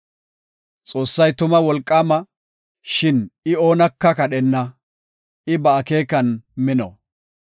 “Xoossay tuma wolqaama; shin I oonaka kadhenna. I ba akeekan mino.